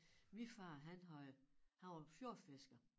Min far han havde han var fjordfisker